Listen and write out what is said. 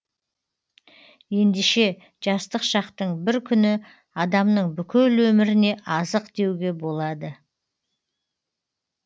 ендеше жастық шақтың бір күні адамның бүкіл өміріне азық деуге болады